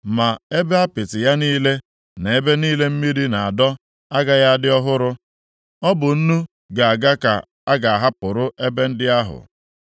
Ma ebe apịtị ya niile, nʼebe niile mmiri na-adọ, agaghị adị ọhụrụ, ọ bụ nnu ga-aga ka a ga-ahapụrụ ebe ndị ahụ.